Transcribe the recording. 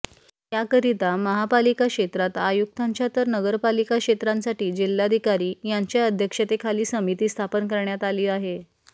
याकरिता महापालिका क्षेत्रात आयुक्तांच्या तर नगरपालिका क्षेत्रासाठी जिल्हाधिकारी यांच्या अध्यक्षतेखाली समिती स्थापन करण्यात आली आहे